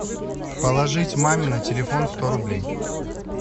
положить маме на телефон сто рублей